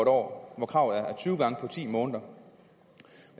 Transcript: år hvor kravet er tyve gange på ti måneder